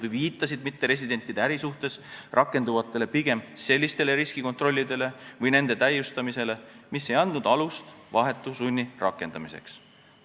Need viitasid mitteresidentide äri suhtes rakenduvale pigem sellisele riskikontrollile või selle täiustamisele, mis ei andnud alust vahetu sunni rakendamiseks, või kinnitasid seda.